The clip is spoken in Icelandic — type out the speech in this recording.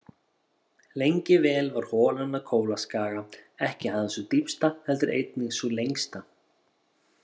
Lengi vel var holan á Kólaskaga ekki aðeins sú dýpsta heldur einnig sú lengsta.